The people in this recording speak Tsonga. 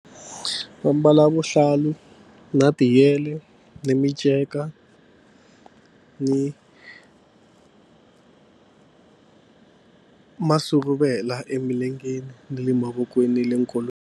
Va mbala vuhlalu na tiyele ni minceka ni masuruvela emilengeni ni le mavokweni ni le .